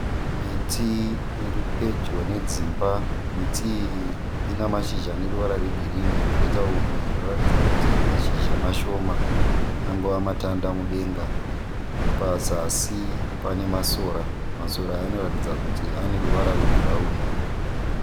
Miti iri pedyo nedzimba miti iyi ine mashizha ane ruvara rwegirini, poita umwe unoratidza kuti mashizha mashoma angove matanda mudenga, pazasi pane masora, masora aya anoratidza kuti ane ruvara rwebhurauni.